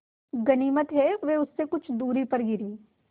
गनीमत है वे उससे कुछ दूरी पर गिरीं